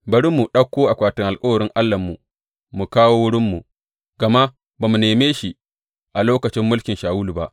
Bari mu ɗauko akwatin alkawarin Allahnmu mu kawo wurinmu, gama ba mu neme shi a lokacin mulkin Shawulu ba.